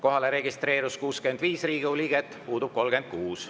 Kohalolijaks registreerus 65 Riigikogu liiget, puudub 36.